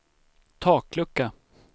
taklucka